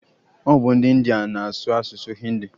Ọ bu ndi india na-asụ asụsụ hindi